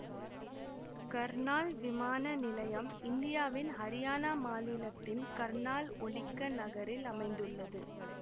கர்னால் விமான நிலையம் இந்தியாவின் ஹரியானா மாநிலத்தின் கர்னால் ஒலிக்க நகரில் அமைந்துள்ளது